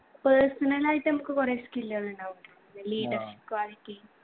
personal ആയിട്ട് നമ്മക്ക് കൊറേ skill കളുണ്ടാകും നമ്മളെ leadership quality